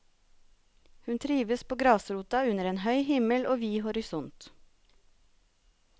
Hun trives på grasrota under en høy himmel og vid horisont.